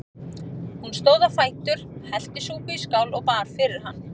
Hún stóð á fætur, hellti súpu í skál og bar fyrir hann.